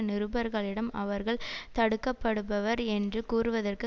நிருபர்களிடம் அவர்கள் தடுக்கப்படுபவர் என்று கூறுவதற்கு